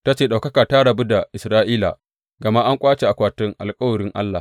Ta ce, Ɗaukaka ta rabu da Isra’ila, gama an ƙwace akwatin alkawarin Allah.